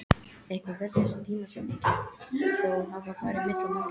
Eitthvað virtist tímasetningin þó hafa farið milli mála.